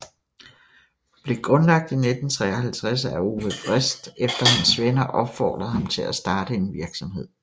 Blev grundlagt I 1953 af Ove Wrist efter hans venner opfordrede ham til at starte en virksomhed